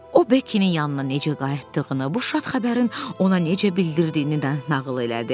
O Bekinin yanına necə qayıtdığını, bu şad xəbərin ona necə bildirdiyini də nağıl elədi.